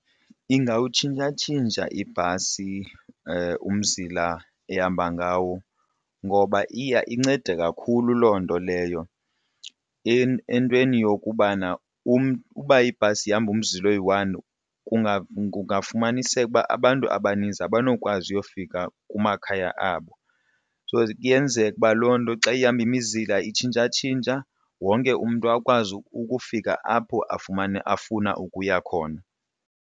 Ingawutshintshatshintsha ibhasi umzila ehamba ngawo ngoba iya incede kakhulu loo nto leyo entweni yokubana uba ibhasi ihamba umzila oyi-one kungafumaniseka ukuba abantu abaninzi abanokwazi uyofika kumakhaya abo. So kuyenzeka ukuba loo nto xa ihamba imizila itshintshatshintsha wonke umntu akwazi ukufika apho afuna ukuya khona.